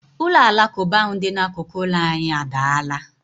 Ụlọ alakụba ahụ dị n'akụkụ ụlọ anyị adaala.